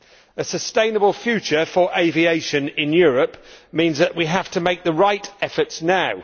A sustainable future for aviation in Europe means that we have to make the right efforts now.